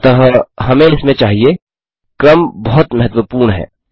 अतः हमें इसमें चाहिए क्रम बहुत महत्वपूर्ण है